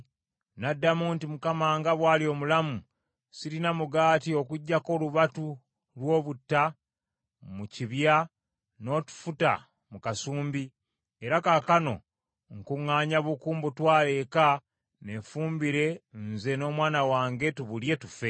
N’addamu nti, “ Mukama nga bw’ali omulamu, sirina mugaati okuggyako olubatu lw’obutta mu kibya n’otufuta mu kasumbi, era kaakano nkuŋŋaanya buku mbutwale eka neefumbire nze n’omwana wange tubulye tufe.”